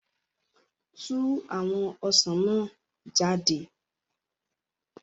Tú àwọn ọsàn náà jáde